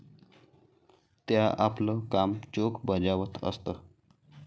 त्या आपलं काम चोख बजावत असत.